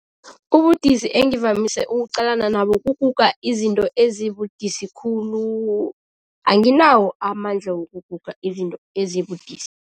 Ubudisi engivamise ukuqalana nabo kuguga izinto ezibudisi khulu, anginawo amandla wokuguga izinto ezibudisi.